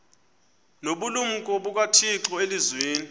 nobulumko bukathixo elizwini